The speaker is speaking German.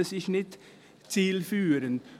Er ist nicht zielführend.